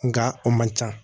Nga a man ca